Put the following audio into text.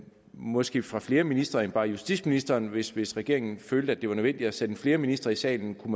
måske fra flere ministre end bare justitsministeren hvis hvis regeringen følte at det var nødvendigt at sende flere ministre i salen kunne